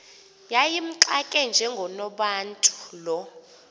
yayimxake njengonobantu lo